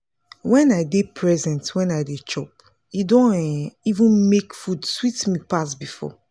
wen i dey present when i dey chop e don um even make food sweet me pass before